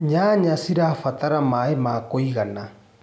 Nyanya cirabatara maĩ ma kũigana.